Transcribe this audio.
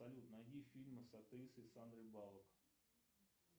салют найди фильмы с актрисой сандрой баллок